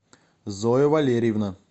зоя валерьевна